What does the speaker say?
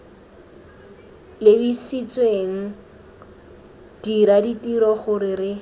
lebisitswenggo dira ditiro gore re